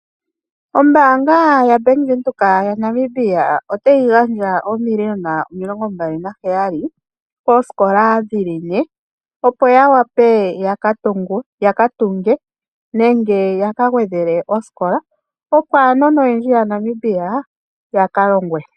Ombaanga yaBank Windhoek yaNamibia otayi gandja oomiliona omilongo mbali naheyali koosikola dhi li ne, opo ya wape ya ka tunge nenge ya ka gwedhele osikola opo aanona oyendji yaNamibia ya ka longwe.